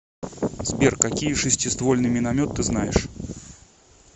сбер какие шестиствольный миномет ты знаешь